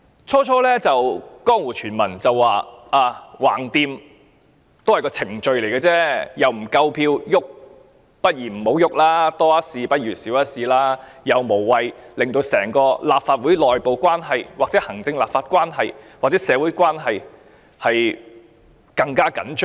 最初有江湖傳聞指，反正這項議案也只是程序而已，不會有足夠的票數通過，倒不如不要提出，多一事不如少一事，無謂令整個立法會內部、行政立法或社會關係更趨緊張。